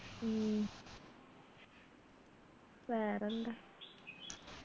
ഉം വേറെന്താ